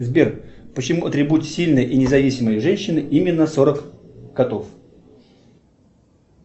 сбер почему атрибут сильной и независимой женщины именно сорок котов